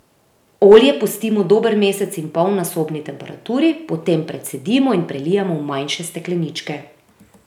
Olje pustimo dober mesec in pol na sobni temperaturi, potem precedimo in prelijemo v manjše stekleničke.